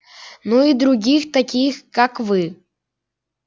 ну и других таких как вы